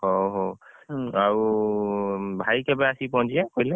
ହଉ ହଉ ଆଉ ଭାଇ କେବେ ଆସି ପହଁଚିବେ କହିଲେ?